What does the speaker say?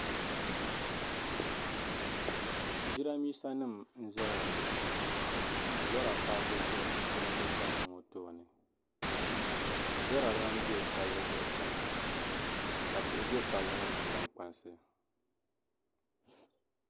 jidambiisanima n-zaya ŋɔ ka lɔra paaki za jidambiisanima ŋɔ tooni lɔra ban be palli zuɣu chana ka tihi be palli ŋɔ nangbaŋkansi